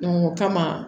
o kama